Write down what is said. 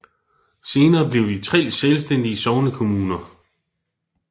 Senere blev de tre selvstændige sognekommuner